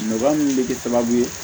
Nɔgɔya min bɛ kɛ sababu ye